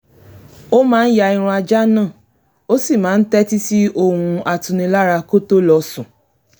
ó máa ń ya irun ajá náà ó sì máa ń tẹ́tí sí ohùn atunilára kó tó lọ sùn